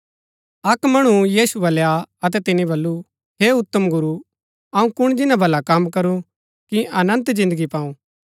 अक्क मणु यीशु बलै आ अतै तिनी बल्लू हे उत्तम गुरू अऊँ कुण जिन्‍ना भला कम करूं कि अनन्त जिन्दगी पाऊ